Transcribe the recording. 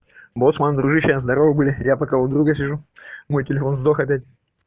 боцман дружище а здорово бля я пока у друга сижу мой телефон сдох опять